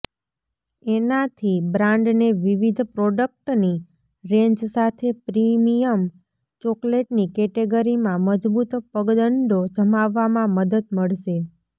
એનાથી બ્રાન્ડને વિવિધ પ્રોડક્ટની રેન્જ સાથે પ્રીમિયમ ચોકલેટની કેટેગરીમાં મજબૂત પગદંડો જમાવવામાં મદદ મળશે